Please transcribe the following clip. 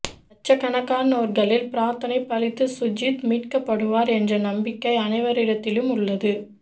லட்சக்கணக்கானோர்களின் பிரார்த்தனை பலித்து சுர்ஜித் மீட்கப்படுவார் என்ற நம்பிக்கை அனைவரிடத்திலும் உள்ளது